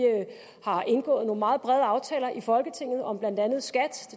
har indgået nogle meget brede aftaler i folketinget om blandt andet skat